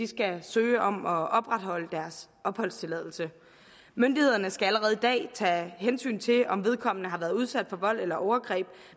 skal søge om at opretholde deres opholdstilladelse myndighederne skal allerede i dag tage hensyn til om vedkommende har været udsat for vold eller overgreb